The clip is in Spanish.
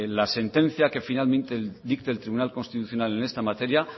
la sentencia que finalmente dicte el tribunal constitucional en esta materia